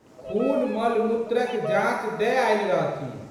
खूनमलमूत्रक जाँच दए आयल रहथिन।